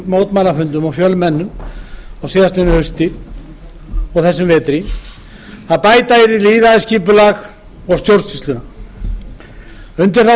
á mörgum fjölmennum mótmælafundum í haust og vetur um að bæta yrði lýðræðisskipulag og stjórnsýsluna undir þá